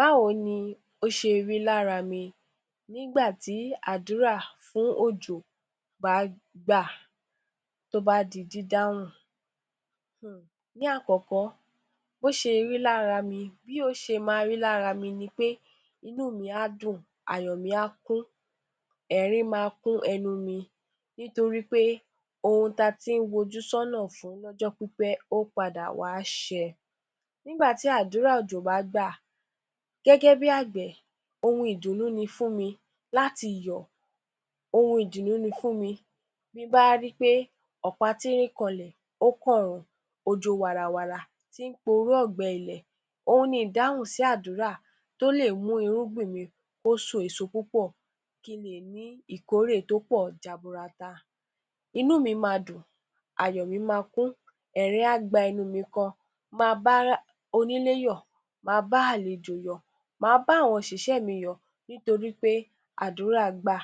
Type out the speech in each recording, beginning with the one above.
Báwo ni ó ṣe rí lára mi nígbà tí àdúrà fún òjò bá a gbà tí ó bá a di dídáhùn, hmm. Ní àkọ́kọ́, bó ṣe rí lára mi, bí ó ṣe máa rí lára mi ní pé, inú mi máa dùn, ayọ̀ mi a kún, ẹ̀rín a kún ẹnu mi nítorí pé ohun tí a tí ń fojú sọ́nà fún lọ́jọ́ tí ó ti pẹ́, ó padà wá ṣe. Nígbà tí àdúrà òjò bá a gbà, gẹ́gẹ́ bí agbẹ̀, ohun ìdùnnú ni fún mi láti yọ̀, ohun ìdùnnú ni fún mi, tí bá a rí pé ọ̀pá tínrín kànlẹ̀ ó kan ọ̀run, ó ń jó warawara tí ń porú ọ̀gbẹlẹ̀ ohun ni ìdáhùn sí àdúrà tí ó lè mú irúgbìn mi kó so púpọ̀ kí lè ní ìkórè tí ó pọ̀ jaburata. Inú mi máa dùn, ayọ̀ mi a kún, ẹ̀rín a gba ẹnu mi gan, máa bá a onílé yọ̀, máa bá a àlejò yọ̀, máa bá àwọn òṣìṣẹ́ mi yọ̀ nítorí pé àdúrà gbà,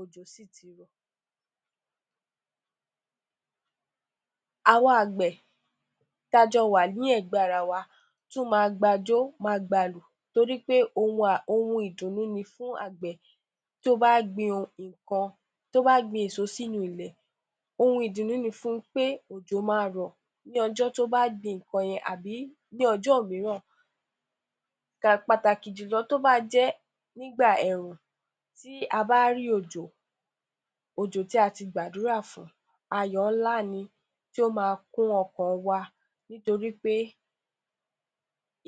òjò dẹ́ tí rọ̀. Àwa agbẹ̀ ti a jọ wá ní ẹgbẹ́ ara wa tún máa gba ìjọ máa gba ìlù, nítorí wí pé ohun ìdùnnú ni fún agbẹ̀ tí ó bá gbìn èso sínú nǹkan sínú ilẹ̀, ohun ìdùnnú ni fún pé òjò máa rọ̀ ní ọjọ́ tí ó bá a gbìn nǹkan yẹn ní ọjọ́ mìíràn pàtàkì jù lọ tí ó bá jẹ nígbà ẹrùn tí a bá rí òjò, òjò tí a gbàdúrà fún, ayọ̀ ńlá ni tí ó máa kún ọkàn wọn nítorí pé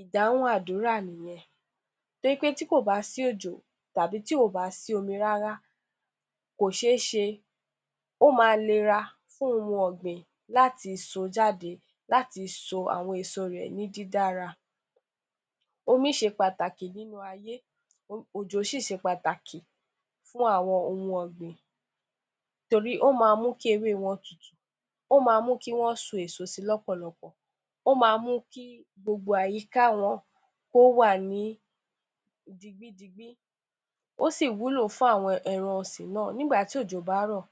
ìdáhùn àdúrà nìyẹn nítorí pé tí kò bá sí òjò tàbí tí kò bá sí omi rárá, kò ṣe é ṣe ó máa lera fún ohun ọgbìn láti so jáde ti so èso ìre ní dára, omi ṣe pàtàkì nínú ayé, òjò sí ṣe pàtàkì fún àwọn ohun ọgbìn nítorí á máa mú kí ewé rẹ tutù, ó máa mú kí wọ́n so èso sí lọ́pọ̀lọ́pọ̀, ó máa mú kí gbogbo àyíká wọn yìí dìgbidìgbi, ó sì wúlò fún ẹran ọ̀sìn náà nígbà tí òjò bá rọ̀,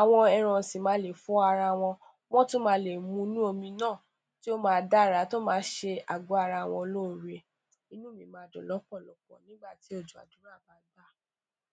àwọn ẹran ọ̀sìn máa lè fọ ara wọn, wọ́n tún lè mu nínú omi náà ti ó máa dára tí ó máa ṣé àgò-ara wọn lóore, inú mi máa dùn lọ́pọ̀lọ́pọ̀ tí òjò àdúrà bá gbà.